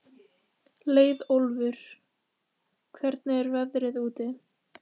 Leiðólfur, hvernig er veðrið úti?